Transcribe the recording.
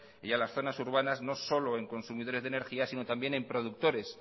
y a las zonas urbanas no solo en consumidores de energía sino también en productores